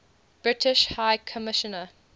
british high commissioner